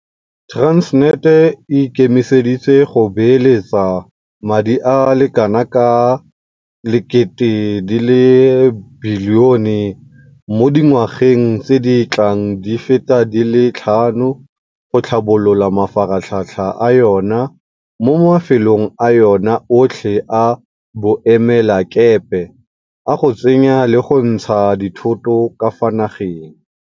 Transnet e ikemiseditse go beeletsa madi a le kanaka R1000 bilione mo dingwageng tse di tlang di feta di le tlhano go tlhabolola mafaratlhatlha a yona mo mafelong a yona otlhe a boemelakepe a go tsenya le go ntsha dithoto ka fa nageng.